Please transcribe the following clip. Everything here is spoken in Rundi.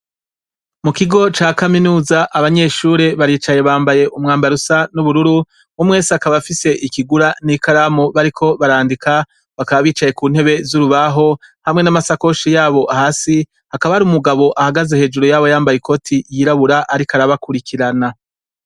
Mu kigo ca kaminuza abanyeshure baricaye bambaye umwambarusa n'ubururu 'umwese akaba afise ikigura n'ikalamu bariko barandika bakaba bicaye ku ntebe z'urubaho hamwe n'amasakoshi yabo hasi hakaba ari umugabo ahagaze hejuru yabo yambaye ikoti yirabura, ariko arabakurikirana.